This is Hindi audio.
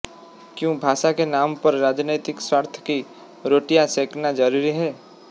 क्यों भाषा के नाम पर राजनीतिक स्वार्थ की रोटियां सेकना जरूरी है